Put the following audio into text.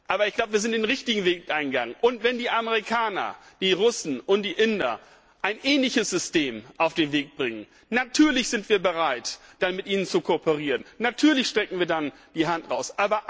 Aber wir haben den richtigen Weg eingeschlagen. Und wenn die Amerikaner, die Russen und die Inder ein ähnliches System auf den Weg bringen natürlich sind wir bereit, dann mit ihnen zu kooperieren, natürlich strecken wir dann die Hand aus.